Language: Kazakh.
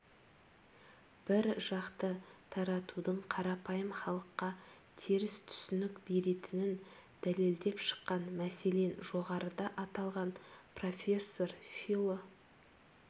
бір жақты таратудың қарапайым халыққа теріс түсінік беретінін дәлелдеп шыққан мәселен жоғарыда аталған профессор фило